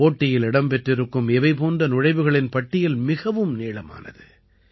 போட்டியில் இடம் பெற்றிருக்கும் இவை போன்ற நுழைவுகளின் பட்டியல் மிகவும் நீளமானது